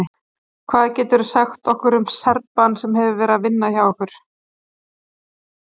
Hvað geturðu sagt okkur um Serbann sem hefur verið hjá ykkur?